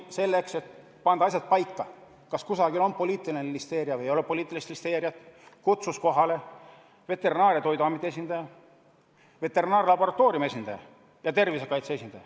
Selleks et panna paika, kas kusagil on poliitiline listeeria või ei ole poliitilist listeeriat, kutsus komisjon kohale Veterinaar- ja Toiduameti esindaja, veterinaarlaboratooriumi esindaja ja tervisekaitse esindaja.